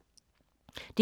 DR K